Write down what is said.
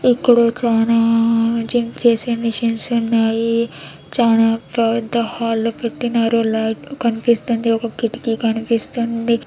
ఇక్కడ చానా చించేసేం చేసే మేచినే ఉన్నాయి. చానా పెద్ద హల్లో పెట్టినారు లైట్ కనిపిస్తుంది. ఒక్క కిటికీ కనిపిస్తుంది.